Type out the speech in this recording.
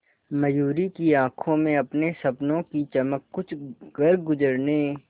मयूरी की आंखों में अपने सपनों की चमक कुछ करगुजरने